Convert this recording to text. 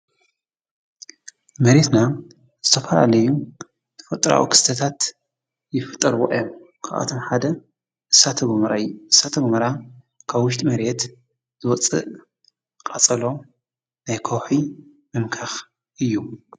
መሬትና ዝተፋላለዩ ተፈጥራኣዊ ክስተታት ይፍጠርዎ እዮም። ካብኣቶም ሐደ እሳተ ጎመራ እዩ። እሳተ ጎመራ ካብ ውሽጢ መሬት ዝወፅእ ቃፀሎ ናይ ከውሒ መምከኪ እዩ።